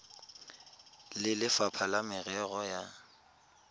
le lefapha la merero ya